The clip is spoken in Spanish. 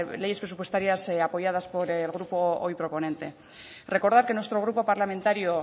leyes presupuestarias apoyadas por el grupo hoy proponente recordar que nuestro grupo parlamentario